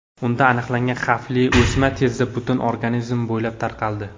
Unda aniqlangan xavfli o‘sma tezda butun organizm bo‘ylab tarqaldi.